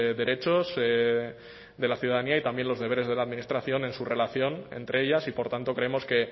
derechos de la ciudadanía y también los deberes de la administración en su relación entre ellas y por tanto creemos que